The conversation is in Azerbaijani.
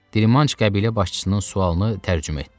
Dirimanç qəbilə başçısının sualını tərcümə etdi.